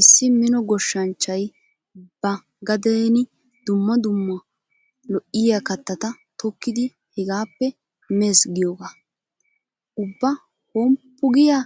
Issi mino goshshanchchay ba gadeeni dumma dumma lo'iya kattata tokkidi hegaappe meesi giyogaa. Ubba homppu giya